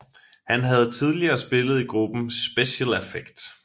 Han havde tidligere spillet i gruppen Speciel Affect